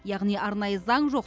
яғни арнайы заң жоқ